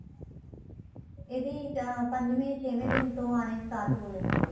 ਇਹਦੀ ਪੰਜਵੇ ਛੇ ਵੇ ਦਿਨ ਤੋ ਆਣੇ start ਹੋ ਜਾਂਦੇ ਏ